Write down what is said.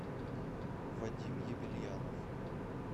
вадим ебельянов